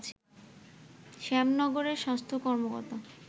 শ্যামনগরের স্বাস্থ্য কর্মকর্তা